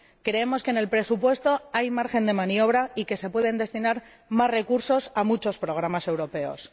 Creemos que en el presupuesto hay margen de maniobra y que se pueden destinar más recursos a muchos programas europeos.